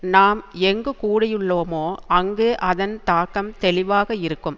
நாம் எங்கு கூடியுள்ளோமோ அங்கு அதன் தாக்கம் தெளிவாக இருக்கும்